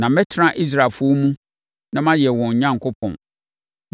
Na mɛtena Israelfoɔ mu na mayɛ wɔn Onyankopɔn,